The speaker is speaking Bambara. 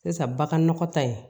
Sisan baganɔgɔ ta in